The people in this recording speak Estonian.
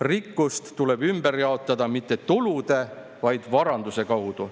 Rikkust tuleb ümber jaotada mitte tulude, vaid varanduse kaudu.